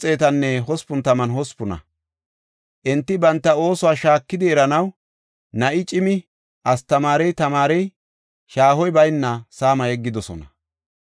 Enti banta oosuwa shaakidi eranaw na7i cimi, astamaarey tamaarey shaahoy bayna saama yeggidosona.